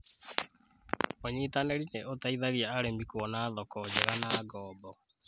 ũnyitanĩri nĩ ũteithagia arĩmi kũona thoko njega na ngobo